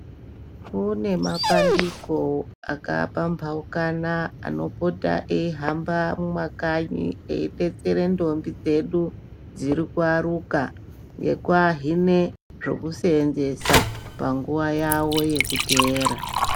Kune mapandiko akapambaukana anopota eihamba mumwakanyi eibetsera ndombi dzedu dzirikuyaruka ngekuahine zvekuseenzesa panguva yavo yekuteera